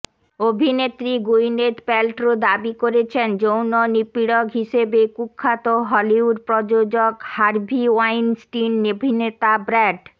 অভিনেত্রী Gwyneth Paltrow দাবি করেছেন যৌন নিপীড়ক হিসেবে কুখ্যাত হলিউড প্রযোজক হার্ভি ওয়াইনস্টিন অভিনেতা ব্র্যাড